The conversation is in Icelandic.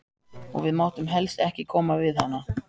Og við máttum helst ekki koma við hana.